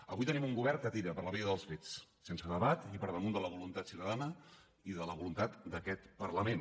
avui tenim un govern que tira per la via dels fets sense debat i per damunt de la voluntat ciutadana i de la voluntat d’aquest parlament